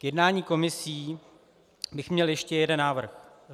K jednání komisí bych měl ještě jeden návrh.